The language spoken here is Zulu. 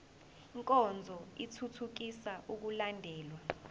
nkonzo ithuthukisa ukulandelwa